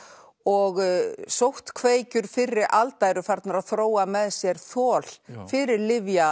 og sóttkveikjur fyrri alda eru farnar að þróa með sér þol fyrir